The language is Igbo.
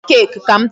Nye m cake ka m taa.